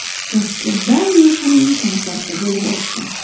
Toshkentda Nyushaning konserti bo‘lib o‘tdi.